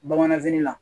Bamananfini la